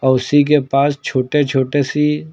उसी के पास छोटे छोटे सी--